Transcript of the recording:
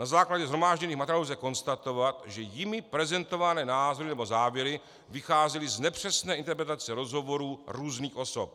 Na základě shromážděných materiálů lze konstatovat, že jimi prezentované názory nebo záměry vycházely z nepřesné interpretace rozhovorů různých osob.